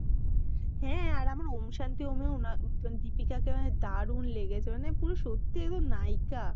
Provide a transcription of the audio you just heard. হ্যা আর আমার ঔ'ম শান্তি ঔ'মে না দিপিকাকে আমার দারুন লেগেছে মানে পুরো সত্যি এবং নায়িকা।